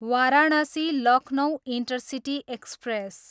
Varanasi, Lucknow intercity express